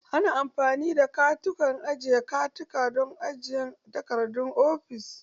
Ana amfani da katakon ajiye takardu don ajiyan takardun ofis.